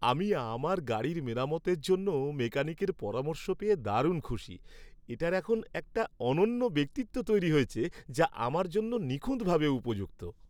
আমি আমার গাড়ির মেরামতের জন্য মেকানিকের পরামর্শ পেয়ে দারুণ খুশি। এটার এখন একটি অনন্য ব্যক্তিত্ব তৈরি হয়েছে যা আমার জন্য নিখুঁতভাবে উপযুক্ত।